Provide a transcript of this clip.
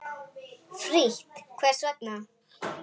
Frítt Hvers vegna?